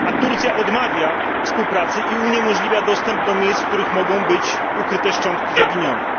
Turcja odmawia współpracy i uniemożliwia dostęp do miejsc, w których mogą być ukryte szczątki zaginionych.